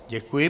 Děkuji.